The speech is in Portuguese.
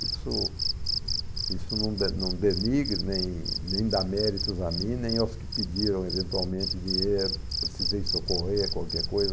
Isso isso não de não denigre, nem nem dá méritos a mim, nem aos que pediram eventualmente dinheiro, precisei socorrer, qualquer coisa.